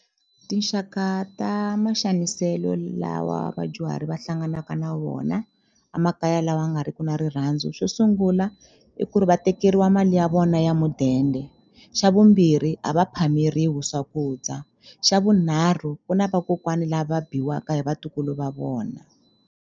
Tinxaka ta maxaniselo lawa vadyuhari va hlanganaka na wona a makaya lawa nga ri ki na rirhandzu xo sungula i ku ri va tekeriwa mali ya vona ya mudende xa vumbirhi a va phameriwi swakudya xa vunharhu ku na vakokwani lava biwaka hi vatukulu va vona.